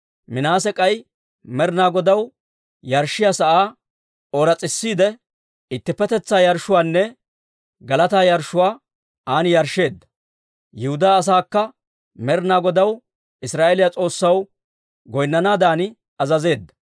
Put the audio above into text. Minaase k'ay Med'inaa Godaw yarshshiyaa sa'aa ooras's'isiide, ittippetetsaa yarshshuwaanne galataa yarshshuwaa an yarshsheedda. Yihudaa asaakka Med'inaa Godaw Israa'eeliyaa S'oossaw goynnanaadan azazeedda.